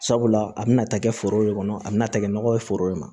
Sabula a bɛna ta kɛ foro de kɔnɔ a bɛna ta kɛ nɔgɔ ye foro de ma